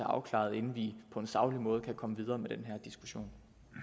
afklaret inden vi på en saglig måde kan komme videre med den her diskussion